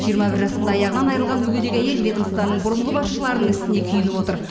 жиырма бір жасында аяғынан айырылған мүгедек әйел ведомствоның бұрынғы басшыларының ісіне күйініп отыр